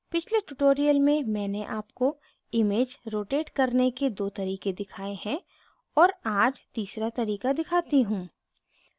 पिछले tutorials में मैंने आपको image rotate करने के दो तरीके दिखाए हैं और आज तीसरा तरीका दिखाती हूँ